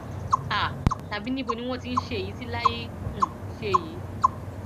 um tàbí níbo ni wọn ti ń ṣe èyí tí láì um ṣe yìí